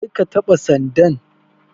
Karka taɓa sandan.